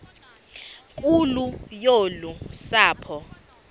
nkulu yolu sapho